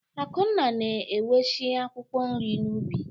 Akunna na-eweshi akwụkwọ nri n'ubi.